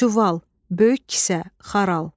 Çuval, böyük kisə, xaral.